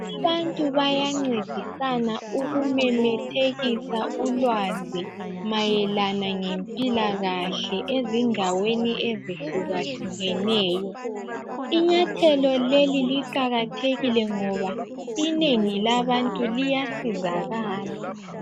Abantu bayancedisana ukumemethekisa ulwazi mayelana ngempilakahle ezindaweni ezihlukahlukeneyo. Inyathelo leli liqakathekile ngoba inengi labantu liyasizakala.